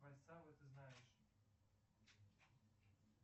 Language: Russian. ты знаешь